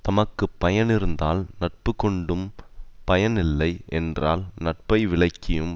தமக்கு பயனிருந்தால் நட்பு கொண்டும் பயன் இல்லை என்றால் நட்பை விலக்கியும்